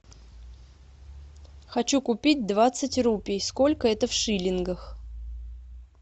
хочу купить двадцать рупий сколько это в шиллингах